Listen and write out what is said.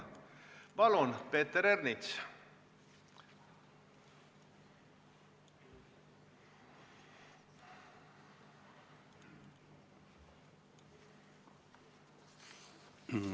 Palun, Peeter Ernits!